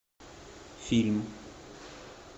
фильм